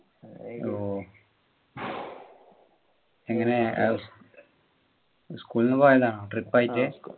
B ഓ എങ്ങനെ അസ് school ന്നു പോയതാണോ trip ആയിട്ട്